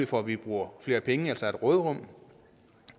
for at vi bruger flere penge altså har et råderum